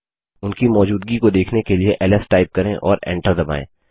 उनकी मौजूदगी को देखने के लिए एलएस टाइप करें और एंटर दबायें